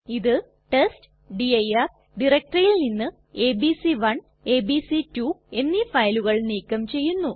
ഇത് ടെസ്റ്റ്ഡിർ ഡയറക്ടറിയിൽ നിന്ന് എബിസി1 എബിസി2 എന്നീ ഫയലുകൾ നീക്കം ചെയ്യുന്നു